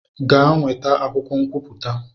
Gaa nweta akwụkwọ nkwupụta!